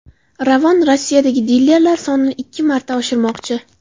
Ravon Rossiyadagi dilerlar sonini ikki marta oshirmoqchi.